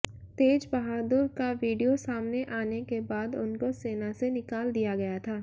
तेज बहादुर का वीडियो सामने आने के बाद उनको सेना से निकाल दिया गया था